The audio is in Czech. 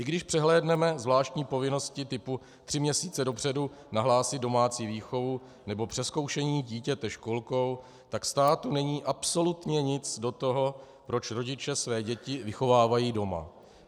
I když přehlédneme zvláštní povinnosti typu tři měsíce dopředu nahlásit domácí výchovu nebo přezkoušení dítěte školkou, tak státu není absolutně nic do toho, proč rodiče své děti vychovávají doma.